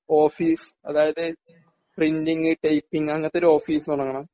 office അതായത് printing typing അങ്ങനത്തെ ഒരു ഓഫീസ് തുടങ്ങണം